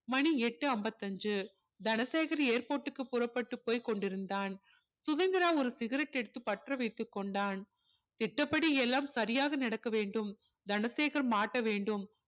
மணி எட்டு ஐம்பது அஞ்சு தனசேகர் airport க்கு புற்ப்பட்டு போய் கொண்டிருந்தான் சுதந்திரா ஒரு cigarette எடுத்து பற்ற வைத்து கொண்டான் திட்டபடி எல்லாம் சரியாக நடக்க வேண்டும் தனசேகர் மாட்ட வேண்டும்